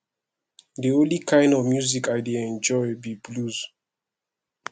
the only kin of music i dey enjoy be blues